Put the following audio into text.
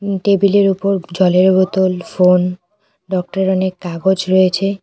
টেবিলের ওপর জলের বোতল ফোন ডক্টরের অনেক কাগজ রয়েছে।